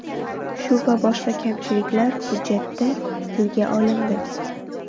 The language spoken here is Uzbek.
Shu va boshqa kamchiliklar hujjatda tilga olindi.